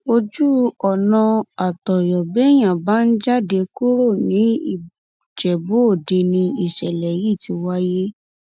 ojú ọnà àtọyọ béèyàn bá ń jáde kúrò nìjẹbúọdẹ ni ìṣẹlẹ yìí ti wáyé